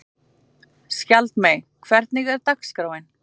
Skjaldmey, hvernig er dagskráin?